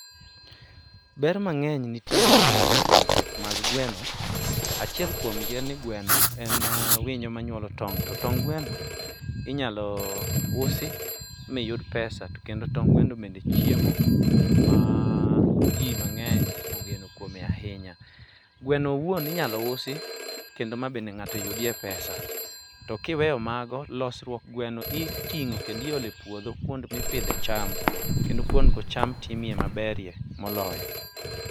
ber mang'eny nitiere ma iyudo kuom pith mag gweno. Achiel kuom gi en ni gweno en winyo manywolo tong' to tong'g gwono inyalo usi ma iyud pesa. to kendo tong' gweno bende en chiemo ma ji mangeny ogeno kuome ahinya. Gweno wuon inyalo uso ma iyud pesa, to kiweyo mago, losruok gweno iting'o kendo iolo e puodho kuond mi pidhe cham, kendo kuonedgo cham timoe maber moloyo.